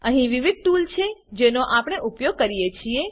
અહી વિવિધ ટૂલ છે જેનો આપણે ઉપયોગ કરી છીએ